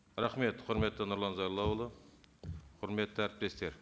рахмет құрметті нұрлан зайроллаұлы құрметті әріптестер